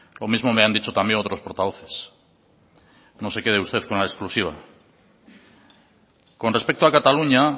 lo mismo me han dicho también otros portavoces no se quede usted con la exclusiva con respecto a cataluña